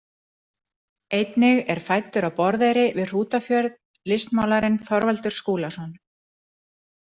Einnig er fæddur á Borðeyri við Hrútafjörð listmálarinn Þorvaldur Skúlason.